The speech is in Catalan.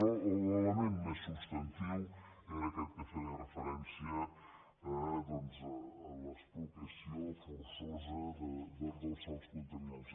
però l’element més substantiu era aquest que feia refe·rència doncs a l’expropiació forçosa dels sòls contami·nats